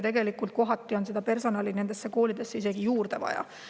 Tegelikult on kohati personali nendesse koolidesse isegi juurde vaja.